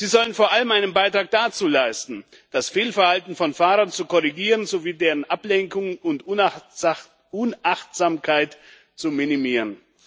Sie sollen vor allem einen Beitrag dazu leisten, das Fehlverhalten von Fahrern zu korrigieren sowie deren Ablenkung und Unachtsamkeit zu minimieren.